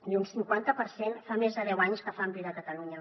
i un cinquanta per cent fa més de deu anys que fan vida a catalunya